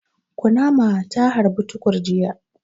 Kunama ta harbi Tukur jiya.